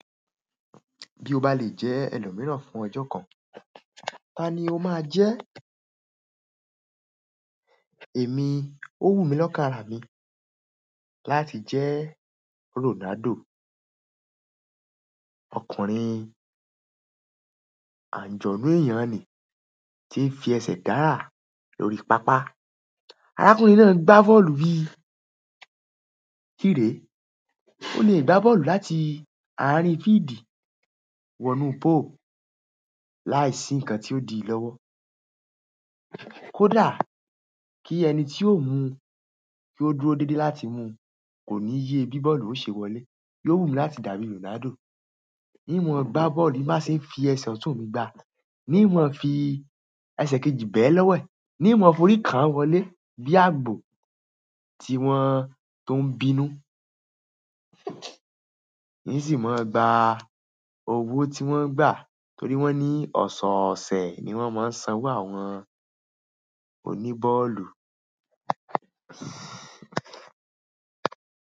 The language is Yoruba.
Bí o bá lè jẹ́ ẹlòmíràn fún ọjọ́ kan, ta ni o máa jẹ́? Èmi ó wù mí lọ́kàn ara mí láti jẹ́ Ronaldo. Ọkùnrin ànjọ̀nú èèyàn ni tí ń fi ẹsẹ̀ dára lórí pápá. Arákùnrin náà ń gbá bọ́ọ̀lù bí kìré. Ó lè gbá bọ́ọ̀lù láti àárín fíídì wọ inú póò láìsí nǹkan tí ó di lọ́wọ́. Kódà ki ẹni ti o mu ko dúró dede láti mu, ko ni ye bi bọ́ọ̀lù náà o se wọlé yóò wù mí láti dàbí Ronaldo. In mọ ń gbá bọ́ọ̀lù, bi n ba ṣe n fi ẹsẹ̀ ọ̀tún mi gbá. N mọọ n fi ẹsẹ̀ kejì bẹ̀ ẹ́ lọ́wẹ̀, n mọọ forí kán wọlé bí àgbò tí wọ́n tó ń bínú, in sì máa gbá owó tí wọ́n ń gbà torí wọ́n ní ọ̀sọ̀ọ̀sẹ̀ ni wọ́n máa ń san wá àwọn oníbọ́ọ̀lù.